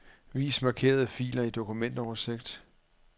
Vis markerede filer i dokumentoversigt.